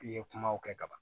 I ye kumaw kɛ ka ban